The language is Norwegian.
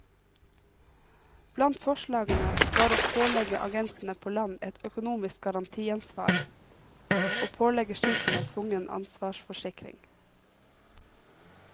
Blant forslagene var å pålegge agentene på land et økonomisk garantiansvar, og pålegge skipene tvungen ansvarsforsikring.